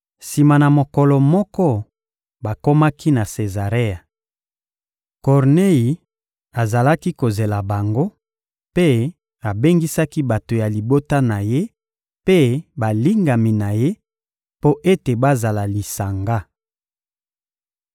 Sima na mokolo moko, bakomaki na Sezarea. Kornei azalaki kozela bango, mpe abengisaki bato ya libota na ye mpe balingami na ye mpo ete bazala lisanga.